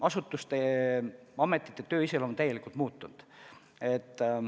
Asutuste töö iseloom on täielikult muutunud.